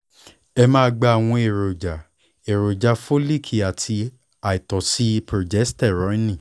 ẹ máa gba àwọn èròjà èròjà fólíkì àti àìtọ́sí prógésítérónì